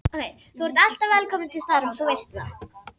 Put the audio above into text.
Þú ert alltaf velkominn til starfa, þú veist það.